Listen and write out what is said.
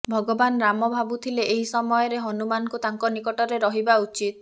ଭଗବାନ୍ ରାମ ଭାବୁଥିଲେ ଏହି ସମୟରେ ହନୁମାନଙ୍କୁ ତାଙ୍କ ନିକଟରେ ରହିବା ଉଚିତ୍